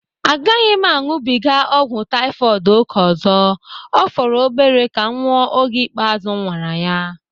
A gaghị m aṅụbiga ọgwụ Taifọd ókè ọzọ, ọ fọrọ obere ka m nwụọ oge ikpeazụ m nwara ya